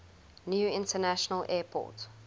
new international airport